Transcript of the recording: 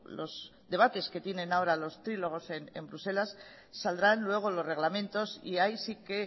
los debates que tienen ahora los trílogos en bruselas saldrán luego los reglamentos y ahí sí que